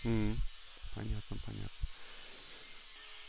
понятно понятно